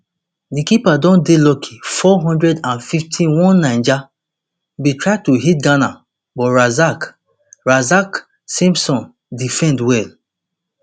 di keeper don dey lucky four hundred and fifty-oneniger bin try to hit ghana but razak razak simpson defend well